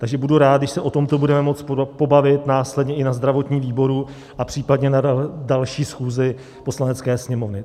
Takže budu rád, když se o tom budeme moci pobavit následně i na zdravotním výboru a případně na další schůzi Poslanecké sněmovny.